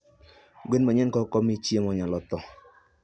gwen manyien kokomii chiemo nyalo thoo